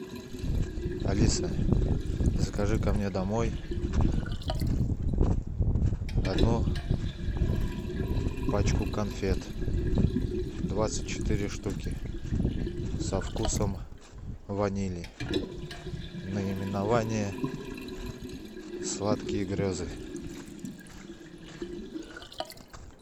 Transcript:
алиса закажи ка мне домой одну пачку конфет двадцать четыре штуки со вкусом ванили наименование сладкие грезы